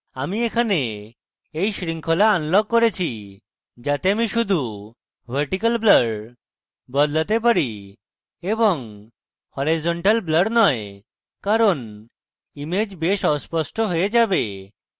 আমি এখানে এই শৃঙ্খলা আনলক করেছি যাতে আমি শুধু vertical blur বদলাতে পারি এবং horizontal blur নয় কারণ image বেশ অস্পষ্ট হয়ে যাবে